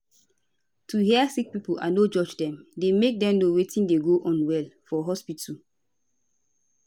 to hear sick pipo and no judge dem dey make dem know wetin dey go on well for hospitu